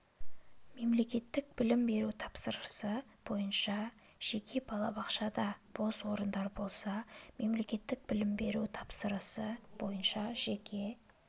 мемлекеттік білім беру тапсырысы бойынша жеке балабақшада бос орындар болса мемлекеттік білім беру тапсырысы бойынша жеке